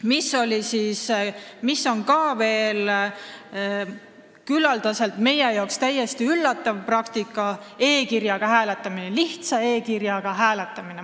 Meie jaoks on küllaldaselt üllatav praktika ka lihtsa e-kirjaga hääletamine.